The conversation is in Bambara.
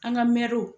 An ka mɛruw